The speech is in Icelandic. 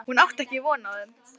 Hún átti ekki von á þeim.